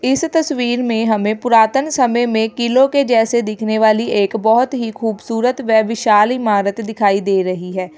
इस तस्वीर में हमें पुरातन समय में किलो के जैसे दिखने वाली एक बहोत ही खूबसूरत व विशाल इमारत दिखाई दे रही है।